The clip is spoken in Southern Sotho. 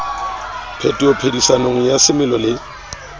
phetoho phedisanong ya semelo le